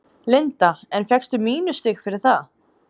Linda: En fékkstu mínusstig fyrir það?